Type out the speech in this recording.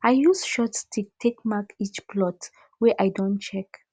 i use short stick take mark each plot wey i don check